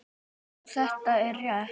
Hansa: Jú, það er rétt.